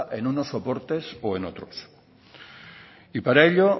en unos soportes o en otros para ello